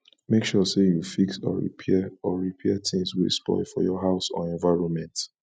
make sure say you fix or repair or repair things wey spoil for your house or environment